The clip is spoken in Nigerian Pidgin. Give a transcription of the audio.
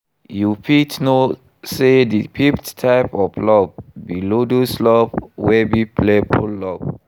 You fit know say di fifth type of love be ludus love wey be playful love.